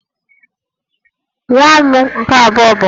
Nwa m nke abụọ bụ nwaanyị